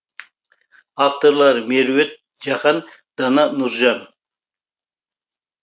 авторлары меруерт жақан дана нұржан